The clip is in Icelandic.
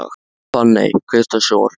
Fanney, kveiktu á sjónvarpinu.